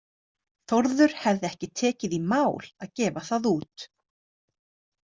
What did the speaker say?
Þórður hefði ekki tekið í mál að gefa það út.